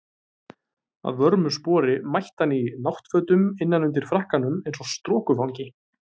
Að vörmu spori mætti hann í náttfötum innan undir frakkanum eins og strokufangi.